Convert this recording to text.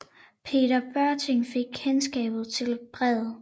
Peter Børting fik kendskab til brevet